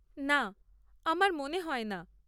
না, আমার মনে হয় না।